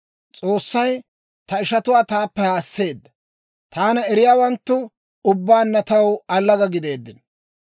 «S'oossay ta ishatuwaa taappe haasseedda; taana eriyaawanttu ubbaanna taw allaga gideeddino.